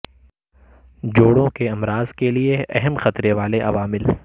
جوڑوں کے امراض کے لئے اہم خطرے والے عوامل